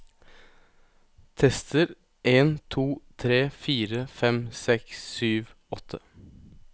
Tester en to tre fire fem seks sju åtte